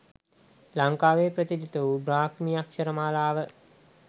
ලංකාවේ ප්‍රචලිත වූ බ්‍රාහ්මී අක්ෂර මාලාව